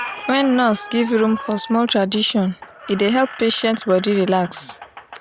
when nurse give room for small tradition e dey help patient body relax.